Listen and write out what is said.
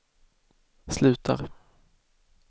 slutar